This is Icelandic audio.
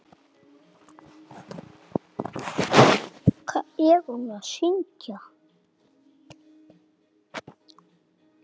Kannast einhver við þetta?